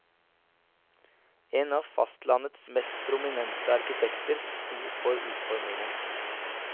En av fastlandets mest prominente arkitekter sto for utformingen.